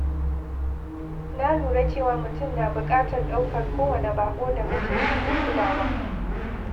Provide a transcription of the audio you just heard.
Na lura cewa mutum na buƙatar ɗaukar kowane baƙo da mutunci da kulawa.